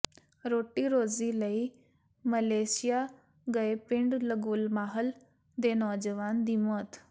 ਰੋਟੀ ਰੋਜ਼ੀ ਲਈ ਮਲੇਸ਼ੀਆ ਗਏ ਪਿੰਡ ਲੰਗੋਮਾਹਲ ਦੇ ਨੌਜਵਾਨ ਦੀ ਮੌਤ